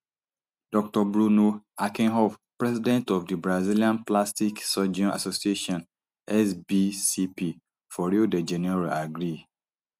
dr bruno herkenhoff president of di brazilian plastic surgeon association sbcp for rio de janeiro agree